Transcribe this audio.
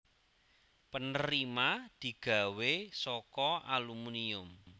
penerima digawe saka alumunium